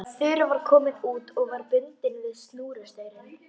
Þura var komin út og var bundin við snúrustaurinn.